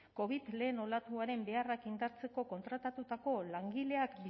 covid lehen olatuaren beharrak indartzeko kontratatutako langileak